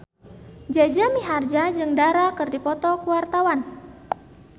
Jaja Mihardja jeung Dara keur dipoto ku wartawan